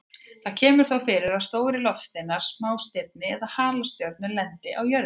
Það kemur þó fyrir að stórir loftsteinar, smástirni eða halastjörnur lendi á jörðinni.